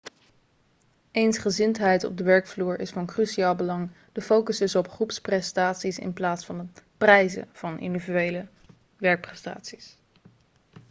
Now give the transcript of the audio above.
eensgezindheid op de werkvloer is van cruciaal belang de focus is op groepsprestaties in plaats van het prijzen van individuele werkprestaties